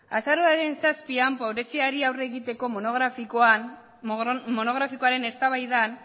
azaroaren zazpian pobreziari aurre egiteko monografikoaren eztabaidan